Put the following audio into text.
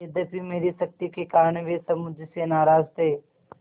यद्यपि मेरी सख्ती के कारण वे सब मुझसे नाराज थे